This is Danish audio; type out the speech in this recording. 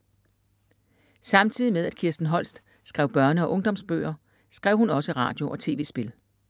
Samtidig med at Kirsten Holst skrev børne- og ungdomsbøger, skrev hun også radio- og tv-spil.